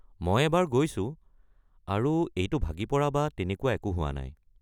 মই এবাৰ গৈছো, আৰু এইটো ভাগি পৰা বা তেনেকুৱা একো হোৱা নাই।